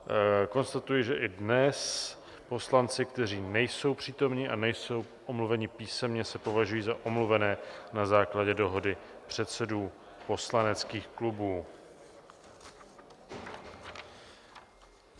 Konstatuji, že i dnes poslanci, kteří nejsou přítomni a nejsou omluveni písemně, se považují za omluvené na základě dohody předsedů poslaneckých klubů.